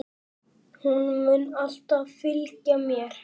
Hún mun alltaf fylgja mér.